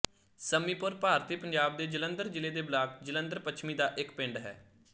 ਸੱਮੀਪੁਰ ਭਾਰਤੀ ਪੰਜਾਬ ਦੇ ਜਲੰਧਰ ਜ਼ਿਲ੍ਹੇ ਦੇ ਬਲਾਕ ਜਲੰਧਰ ਪੱਛਮੀ ਦਾ ਇੱਕ ਪਿੰਡ ਹੈ